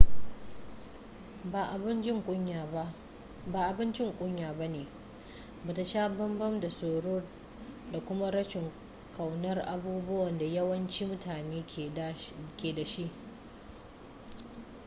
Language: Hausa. ba abun jin kunya bane bata sha bambam da tsoro da kuma rashin kaunar abubuwan da yawancin mutane ke dashi